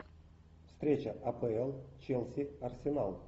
встреча апл челси арсенал